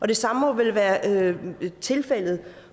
det samme må vel være tilfældet